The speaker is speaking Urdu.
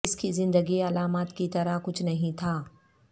اس کی زندگی علامات کی طرح کچھ نہیں تھا